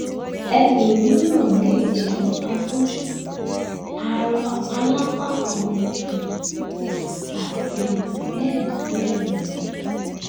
ẹlòmíràn lè jẹ afọjú arọ alápákan um àti bẹẹ bẹẹ lọ